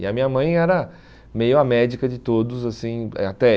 E a minha mãe era meio a médica de todos assim é até.